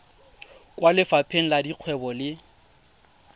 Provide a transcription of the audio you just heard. kwa lefapheng la dikgwebo le